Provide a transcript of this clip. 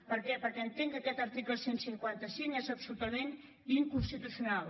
per què perquè entenc que aquest article cent i cinquanta cinc és absolutament inconstitucional